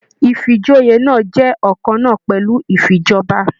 Ifíjòyè náà jẹ ọkanna pẹlú ifíjọba.